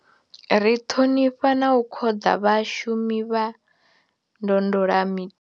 Ri ṱhonifha na u khoḓa vhashumi vha ndondola mi.